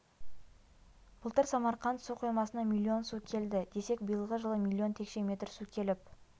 былтыр самарқанд су қоймасына миллион су келді десек биылғы жылы миллион текше метр су келіп